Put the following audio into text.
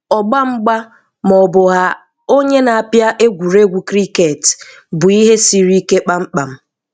Ọ̀gbá mgba maọbụ a onye na-apịa egwuregwu kiriket bụ ihe siri ike kpam kpam.